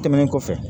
Tɛmɛnen kɔfɛ